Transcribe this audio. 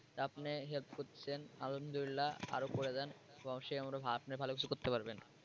আপনি help করতেছেন আলহামদুলিল্লাহ আরো করে জান অবশ্যই আপনি ভালো কিছু করতে পারবেন।